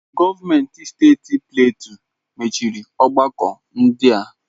Gọọmenti steeti Platue machiri ọgbakọ ndị a.